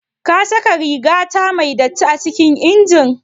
Kasaka rigata me datti acikin injin?